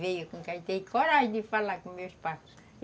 Veio porque ele tem coragem de falar com meus pais.